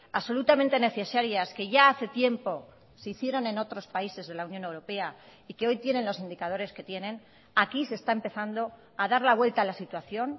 absolutamente necesarias que ya hace tiempo se hicieron en otros países de la unión europea y que hoy tienen los indicadores que tienen aquí se está empezando a dar la vuelta a la situación